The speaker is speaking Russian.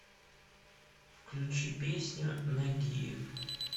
включи песню нагиев